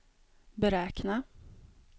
beräkna